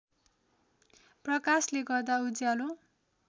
प्रकाशले गर्दा उज्यालो